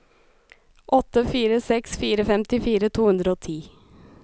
åtte fire seks fire femtifire to hundre og ti